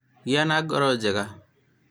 gĩa na ngoro njega